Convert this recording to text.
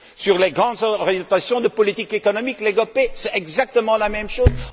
Sur les grandes orientations de politique économique, les GOPE, c'est exactement la même chose.